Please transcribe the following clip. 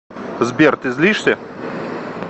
сбер ты злишься